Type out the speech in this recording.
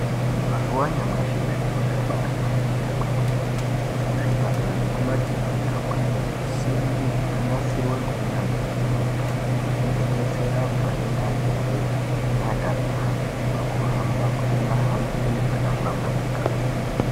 Mazuwa anyamashi zviro zvabaahlamburuka kwemene, kuzvipatara nekumakirinika kwaane zvisimbi zvakanasirwa ngeunyanzvi hukurutu zvekudetsera antu anenge achembera neakaremara pakuhamba kuti vahambe zvakahlamburika.